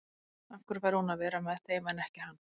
Af hverju fær hún að vera með þeim en ekki hann?